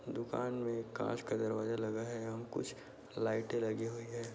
दुकान में कांच का दरवाजा लगा है यहां कुछ लाइटे लगी हुई हैं।